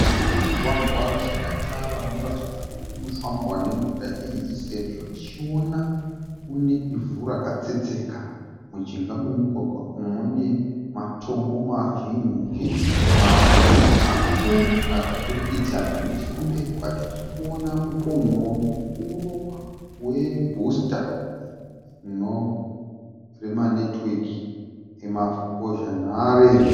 Mugwagwa usina tara unoratidza kuti unofambwa nemota zhinji sezvo tichiona une ivhu rakatsetseka. Mujinga memugwagwa umu mune matombo mazhinji mamwe makuru akaturikidzana. Nechokumberi kwacho tikuona mupon'oro mukuru webhusita remanetiweki emambozhanhare.